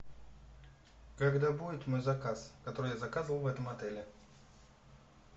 когда будет мой заказ который я заказывал в этом отеле